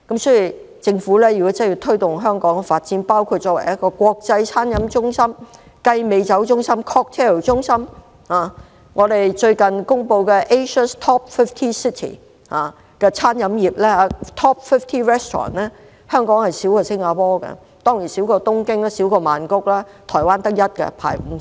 所以，如政府真的要推動香港發展，包括香港作為國際餐飲中心、雞尾酒中心......最近公布的亞洲首5間餐廳，香港較新加坡少，當然亦較東京、曼谷少，台灣只有一間，排名50。